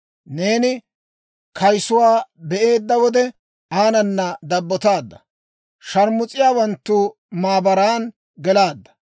Neeni kayisuwaa be'eedda wode, aanana dabbotaadda; Shaarmus'iyaawanttu maabaran gelaadda.